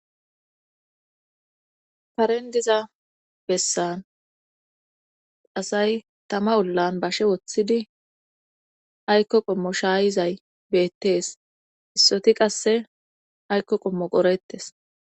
parendiza bessan asay tama ullan bashe woththidi aykko qommo shaayizay beettees issoti qasse aykko qommo qorettes